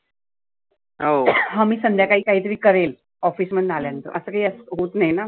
हा मी संध्याकाळी काही तरी करेन office मधनं आल्या नंतर. आस काही होत नाहीना.